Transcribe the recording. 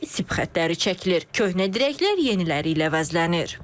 Yeni sip xətləri çəkilir, köhnə dirəklər yeniləri ilə əvəzlənir.